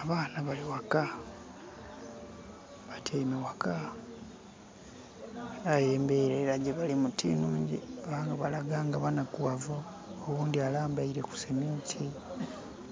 Abaana bali ghaka batyeime ghaka aye embera gyebalimu ti nhungi kubanga balaga nga banhakughavu, oghundhi alambeire ku seminti